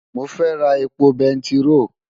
Mo fẹ́ ra epo bẹntiró.